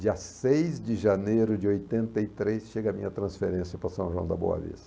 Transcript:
Dia seis de janeiro de oitenta e três chega a minha transferência para São João da Boa Vista.